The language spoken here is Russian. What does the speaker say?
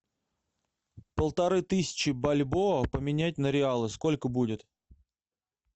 полторы тысячи бальбоа поменять на реалы сколько будет